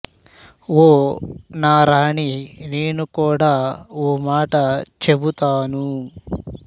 ఓ నా రాణీ నేను కూడ ఓ మాట చెబుతాను